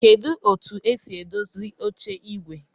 Kedu otu esi edozi oche igwe?